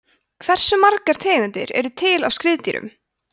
hversu margar tegundir eru til af skriðdýrum